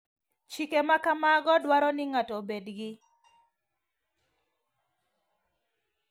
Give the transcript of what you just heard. Chike ma kamago dwaro ni ng'ato obed gi